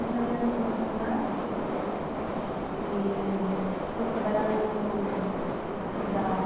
Eu saí antes de me formar e fui trabalhar no na